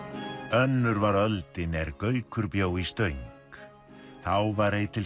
önnur var öldin er Gaukur bjó í Stöng þá var ei til